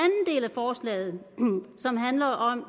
forslaget handler om